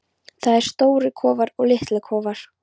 Það eru stórir kofar og litlir kofar.